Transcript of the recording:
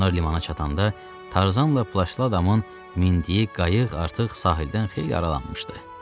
Onlar limana çatanda Tarzanla plaşlı adamın mindiyi qayıq artıq sahildən xeyli aralanmışdı.